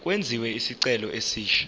kwenziwe isicelo esisha